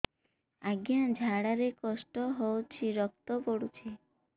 ଅଜ୍ଞା ଝାଡା ରେ କଷ୍ଟ ହଉଚି ରକ୍ତ ପଡୁଛି